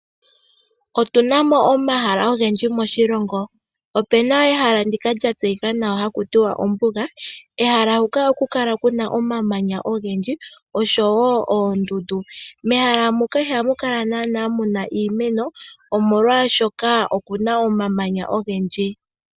Otu namo omahala ogendji moshilongo, opena ehala ndjoka lyatseyika nawa ombuga. Kehala huka oha kukala kuna omamanya ogendji noshowo oondundu. Mehala muka iha mukala naana iimeno oshoka omuna omamanya ogendji.